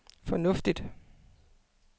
fornuftigt